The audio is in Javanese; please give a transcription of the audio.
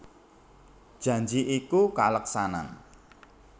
Janji iku kaleksanan